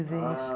Existe.